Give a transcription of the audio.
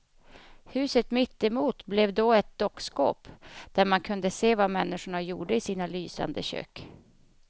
Huset mitt emot blev då ett dockskåp, där man kunde se vad människorna gjorde i sina lysande kök.